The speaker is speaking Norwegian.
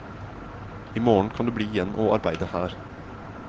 I morgen kan du bli igjen og arbeide her.